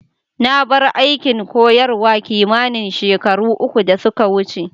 Na bar aikin koyarwa kimanin shekaru uku da suka wuce.